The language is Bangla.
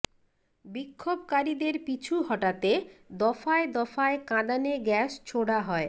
বিক্ষোভকারীদের পিছু হটাতে দফায় দফায় কাঁদানে গ্যাস ছোড়া হয়